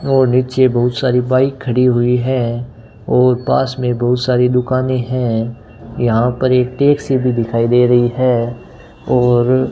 और नीचे बहुत सारी बाइक खड़ी हुई है और पास में बहुत सारी दुकाने हैं यहां पर एक टेक्सी भी दिखाई दे रही है और --